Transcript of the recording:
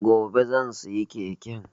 Gobe zan siya keken